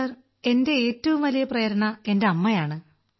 sir എന്റെ ഏറ്റവും വലിയ പ്രേരണ എന്റെ അമ്മയാണ്